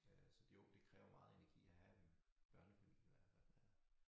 Øh så jo det kræver meget energi at have børnefamilie i hvert fald ja